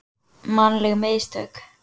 Mannleg mistök.